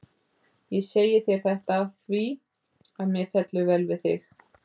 Ég segi þér þetta af því, að mér fellur vel við þig.